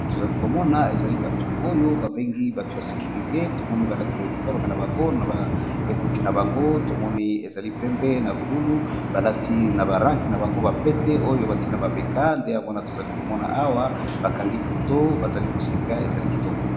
Tozali komona ezali batu ya securite balati ba teni nabango na ba ekoti na bango